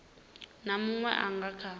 na munwe a nga kha